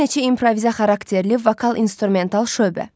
Bir neçə improvizə xarakterli vokal-instrumental şöbə.